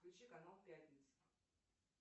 включи канал пятница